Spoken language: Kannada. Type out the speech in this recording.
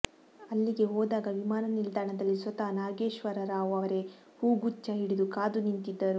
ಅಲ್ಲಿಗೆ ಹೋದಾಗ ವಿಮಾನ ನಿಲ್ದಾಣದಲ್ಲಿ ಸ್ವತಃ ನಾಗೇಶ್ವರ ರಾವ್ ಅವರೇ ಹೂಗುಚ್ಛ ಹಿಡಿದು ಕಾದು ನಿಂತಿದ್ದರು